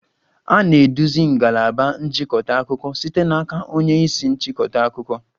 A na-eduzi ngalaba nchịkọta akụkọ site n'aka onye isi nchịkọta akụkọ.